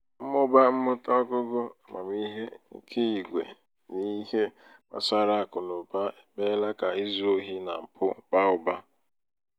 mmụba mmụta ọgụgụ amamihe nke igwè n'ihe gbásárá akụnaụba emeela ka ịzụ ohi na mpụ baa uba